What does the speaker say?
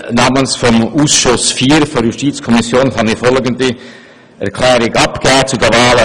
Namens des Ausschusses IV der JuKo kann ich folgende Erklärung abgeben: